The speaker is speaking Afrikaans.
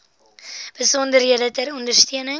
besonderhede ter ondersteuning